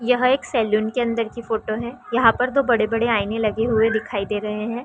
यह एक सैलून की अंदर की फोटो है यहाँ पर दो बड़े - बड़े आइने लगे हुये दिखाई दे रहै है।